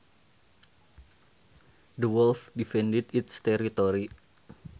The wolf defended its territory